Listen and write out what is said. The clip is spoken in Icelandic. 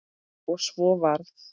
Og svo varð.